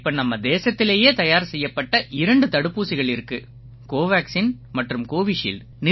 இப்ப நம்ம தேசத்திலேயே தயார் செய்யப்பட்ட இரண்டு தடுப்பூசிகள் இருக்கு கோவேக்சின் மற்றும் கோவிஷீல்ட்